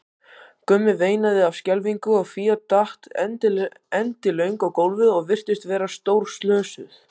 Gummi veinaði af skelfingu og Fía datt endilöng á gólfið og virtist vera stórslösuð.